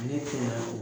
Ne tɛ yan